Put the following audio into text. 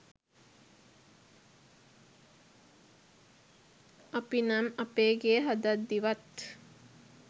අපි නම් අපේ ගේ හදද්දිවත්